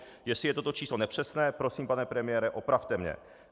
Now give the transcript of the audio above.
Jestli je toto číslo nepřesné, prosím, pane premiére, opravte mě.